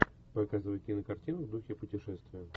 показывай кинокартину в духе путешествия